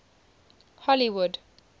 hollywood